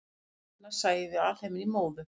án hennar sæjum við alheiminn í móðu